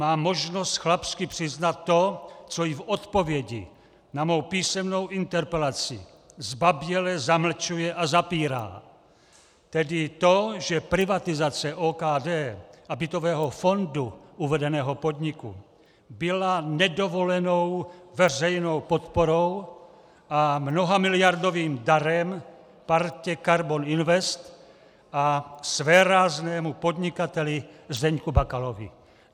Má možnost chlapsky přiznat to, co i v odpovědi na mou písemnou interpelaci zbaběle zamlčuje a zapírá, tedy to, že privatizace OKD a bytového fondu uvedeného podniku byla nedovolenou veřejnou podporou a mnohamiliardovým darem partě Karbon Invest a svéráznému podnikateli Zdeňku Bakalovi.